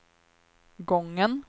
gången